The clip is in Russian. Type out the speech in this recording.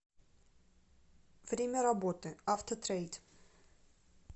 время работы автотрейд